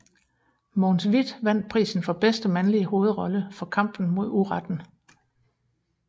Mogens Wieth vandt prisen for bedste mandlige hovedrolle for Kampen mod uretten